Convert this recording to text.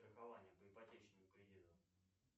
страхование по ипотечному кредиту